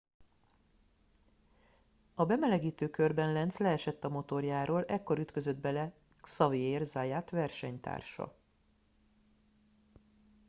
a bemelegítő körben lenz leesett a motorjáról ekkor ütközött bele xavier zayat versenytársa